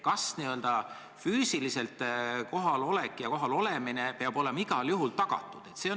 Kas n-ö võimalus füüsiliselt kohal olla peab olema igal juhul tagatud?